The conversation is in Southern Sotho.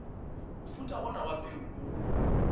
mofuta ona wa peo o